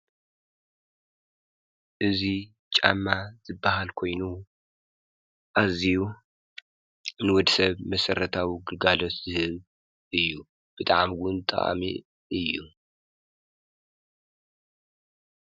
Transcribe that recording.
እዙይ ጫማ ዝብሃል ኮይኑ ኣዝዩ ንወዲ ሰብ መሰረታዊ ግልጋሎት ዝህብ እዩ። ብጣዕሚ እውን ጠቃሚ እዩ።